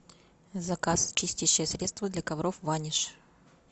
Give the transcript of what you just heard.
заказ чистящее средство для ковров ваниш